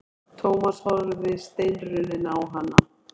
Thomas horfði steinrunninn á hana.